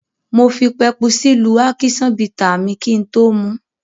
Mo fi pepusí lú ákíṣán bità mi kí n tó mu ú.